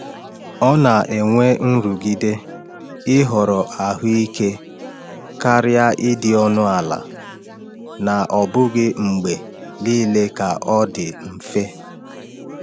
Ọ na-enwe nrụgide ịhọrọ ahụike karịa ịdị ọnụ ala, na ọ bụghị mgbe niile ka ọ dị mfe.